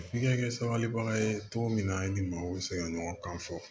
F'i ka kɛ sabalibaga ye cogo min na i ni maaw bɛ se ka ɲɔgɔn kan fɔ